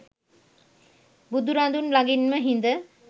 බුදුරදුන් ළඟින්ම හිඳ